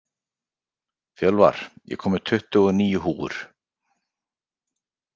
Fjölvar, ég kom með tuttugu og níu húfur!